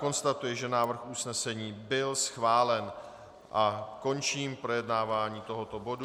Konstatuji, že návrh usnesení byl schválen, a končím projednávání tohoto bodu.